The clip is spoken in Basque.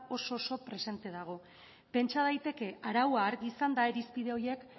oso oso presente dago pentsa daiteke araua argi izanda irizpide horiek